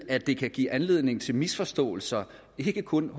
at det kan give anledning til misforståelser ikke kun